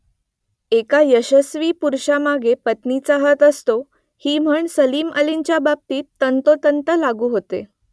एका यशस्वी पुरुषामागे पत्नीचा हात असतो ही म्हण सलीम अलींच्या बाबतीत तंतोतंत लागू होते